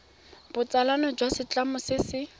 botsalano jwa setlamo se se